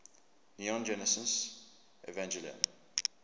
neon genesis evangelion